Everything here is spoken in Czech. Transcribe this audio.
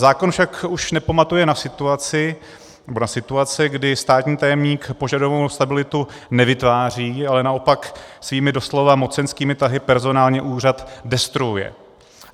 Zákon však už nepamatuje na situace, kdy státní tajemník požadovanou stabilitu nevytváří, ale naopak svými doslova mocenskými tahy personální úřad destruuje.